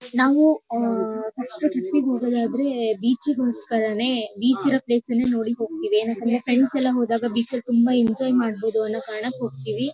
ನಾವು ಆಹ್ಹ್ first trip ಗೆ ಹೋಗೋದಾದ್ರೆ ಬೀಚ್ ಗೊಸ್ಕರಾನೆ ಬೀಚ್ ಇರೋ ಪ್ಲೇಸ್ ನೆ ನೋಡಿ ಹೋಗ್ತಿವಿ ಏನಕ್ಕಂದ್ರೆ ಫ್ರೆಂಡ್ಸ್ ಎಲ್ಲಾ ಹೋದಾಗ ಬೀಚ್ ಲ್ ತುಂಬಾ ಎಂಜಾಯ್ ಮಾಡಬಹುದು ಅನ್ನೋ ಕಾರಣಕ್ಕ ಹೋಗ್ತಿವಿ.